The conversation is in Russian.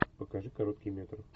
покажи короткий метр